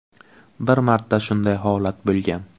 Bir marta shunday holat bo‘lgan.